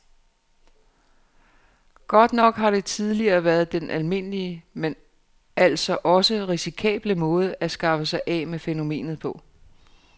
Godt nok har det tidligere været den almindelige, men altså også risikable måde at skaffe sig af med fænomenet på.